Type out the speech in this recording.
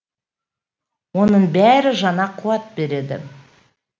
оның бәрі жаңа қуат береді